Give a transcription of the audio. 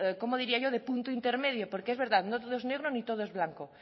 cómo diría yo de punto intermedio porque es verdad no todo es negro ni todo es blanco